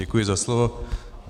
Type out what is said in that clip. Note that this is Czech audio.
Děkuji za slovo.